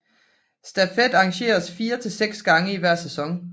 Stafet arrangeres fire til seks gange i hver sæson